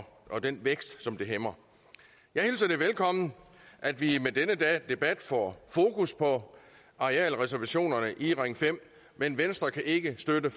den vækst som bliver hæmmet jeg hilser det velkommen at vi med denne debat får fokus på arealreservationerne i ring fem men venstre kan ikke støtte